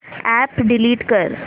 app delete कर